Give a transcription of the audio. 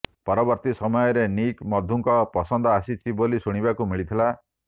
ପରବର୍ତ୍ତୀ ସମୟରେ ନିକ୍ ମଧୁଙ୍କ ପସନ୍ଦ ଆସିଛି ବୋଲି ଶୁଣିବାକୁ ମିଳିଥିଲା